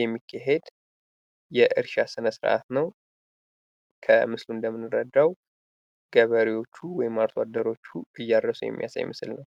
የሚካሄድ የእርሻ ስነ-ስርዓት ነው። ከምስሉ እንደምንረዳው ገበሬወቹ ወይም አርሶ አደሮቹ እያረስ የሚያሳይ ምስል ነው።